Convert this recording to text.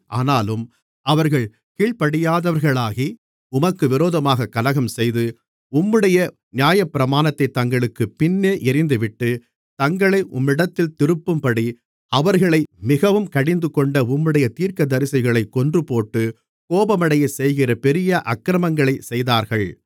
ஆனாலும் அவர்கள் கீழ்ப்படியாதவர்களாகி உமக்கு விரோதமாகக் கலகம்செய்து உம்முடைய நியாயப்பிரமாணத்தைத் தங்களுக்குப் பின்னே எறிந்துவிட்டு தங்களை உம்மிடத்தில் திருப்பும்படி அவர்களை மிகவும் கடிந்துகொண்ட உம்முடைய தீர்க்கதரிசிகளைக் கொன்றுபோட்டு கோபமடையச்செய்கிற பெரிய அக்கிரமங்களைச் செய்தார்கள்